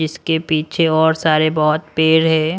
इसके पीछे और सारे बहुत पेर है।